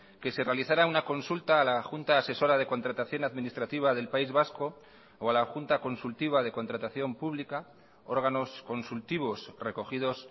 que se realizara una consulta a la junta asesora de contratación administrativa del país vasco o a la junta consultiva de contratación pública órganos consultivos recogidos